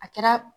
A kɛra